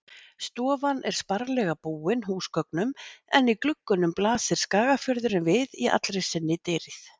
Stofan er sparlega búin húsgögnum en í gluggunum blasir Skagafjörðurinn við í allri sinni dýrð.